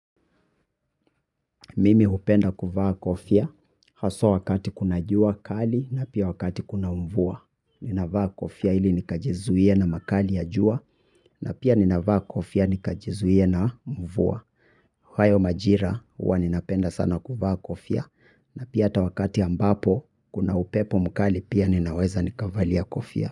Mimi hupenda kuvaa kofia, haswa wakati kuna jua kali na pia wakati kuna mvua. Ninavaa kofia ili nikajizuie na makali ya jua, na pia ninavaa kofia nikajizuie na mvua. Kwa hayo majira huwa ninapenda sana kuvaa kofia, na pia hata wakati ambapo kuna upepo mkali pia ninaweza nikavalia kofia.